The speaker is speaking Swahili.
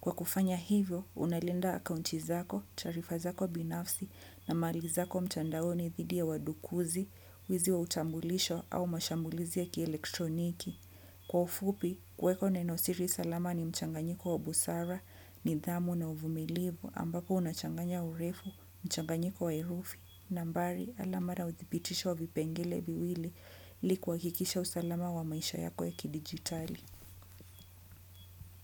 Kwa kufanya hivyo, unalinda akaunti zako, taarifa zako binafsi na mali zako mtandaoni dhidi ya wadukuzi, wizi wa utambulisho au mashambulizi ya kielektroniki. Kwa ufupi, kweko neno siri salama ni mchanganyiko wa busara, nidhamu na uvumilivu ambako unachanganya urefu, mchanganyiko wa herufi. Nambari, alama ma udhibitisho vipengele viwili ili kuhakikisha usalama wa maisha yako ya kidijitali.